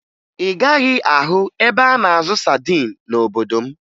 Ị gaghị ahụ ebe a na-azụ sadin n'obodo m